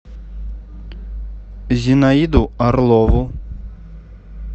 зинаиду орлову